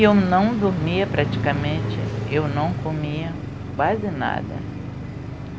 E eu não dormia praticamente, eu não comia quase nada.